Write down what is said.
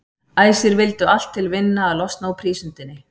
Æsir vildu allt til vinna að losna úr prísundinni.